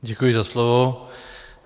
Děkuji za slovo.